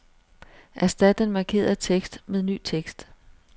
Erstat den markerede tekst med ny tekst.